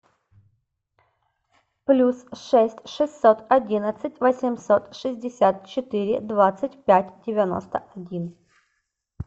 плюс шесть шестьсот одиннадцать восемьсот шестьдесят четыре двадцать пять девяносто один